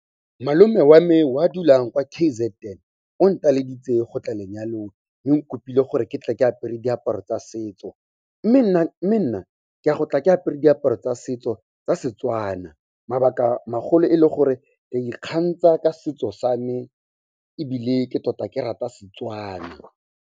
Malome o a me o a dulang kwa K_Z_N, o nteleleditse go tla lenyalong. Mme o kopile gore ke tle ke apere diaparo tsa setso, mme nna ke a go tla ke apere diaparo tsa setso tsa Setswana. Mabaka a magolo e le gore ke ikgantsha ka setso sa me ebile ke tota ke rata Setswana.